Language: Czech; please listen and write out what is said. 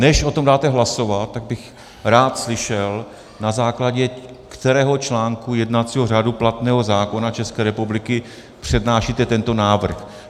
Než o tom dáte hlasovat, tak bych rád slyšel, na základě kterého článku jednacího řádu platného zákona České republiky přednášíte tento návrh?